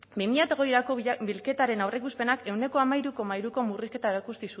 bi mila hogeirako bilketaren aurreikuspenak ehuneko hamairu koma hiruko murrizketa